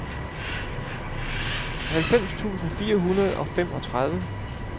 halvfems tusind fire hundrede og femogtredive